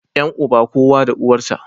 Yan uba, kowa da uwar sa